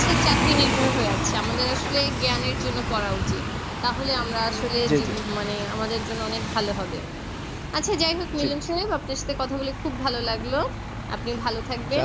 চাকরি নির্ভর হয়ে আছে আমাদের আসলে জ্ঞানের জন্য পড়া উচিত তাহলে আমরা আসলে মানে আমাদের জন্য অনেক ভালো হবে আচ্ছা যাই হোক Milon সাহেব আপনার সাথে কথা বলে খুব ভালো লাগলো আপনিও ভালো থাকবেন